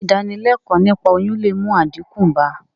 Sé ìdánilékòó niípa oyún le mú àdínkù bá...